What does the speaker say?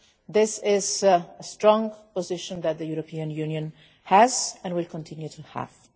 This is a strong position that the European Union has and will continue to have.